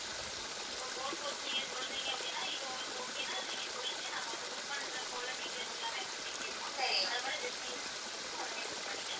இப்போ boat house செய்ய சொல்றீங்க அப்படின்னா இது உங்களுக்கு okay ன்னா அதை நீங்க சொல்லுங்க நாங்க வந்து book பண்றப்பவுள்ள details எல்லாமே வந்துட்டு கேப்போம் அதை மட்டும் just நீங்க உடனே book பண்ணிக்கலாம்